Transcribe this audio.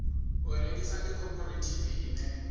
u rengisa ndi khophorethivi ine